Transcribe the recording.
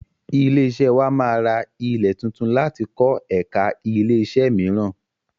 Ilé-iṣẹ́ wà máa ra ilẹ̀ tuntun láti kọ ẹ̀ka ilẹ́-iṣẹ́ mìíràn.